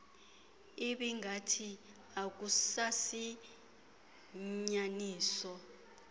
ibingathi akusasi inyaniso